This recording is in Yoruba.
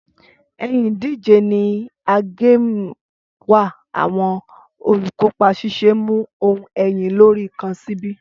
Ẹyin ìdíje ni a game wà awọn olukopa ṣiṣe mu ohun ẹyin lori kan sibi